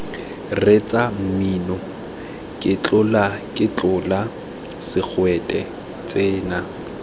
reetsa mmino ketlolaketlola segwete tsena